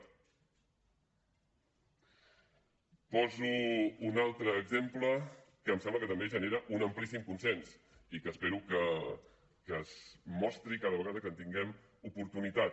poso un altre exemple que em sembla que també genera un amplíssim consens i que espero que es mostri cada vegada que en tinguem oportunitat